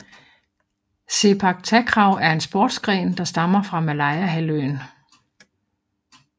Sepak takraw er en sportsgren der stammer fra Malayahalvøen